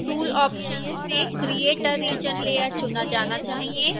tool options में create a region layer चुना जाना चाहिए